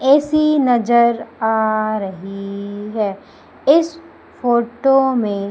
AC नजर आ रही है इस फोटो में--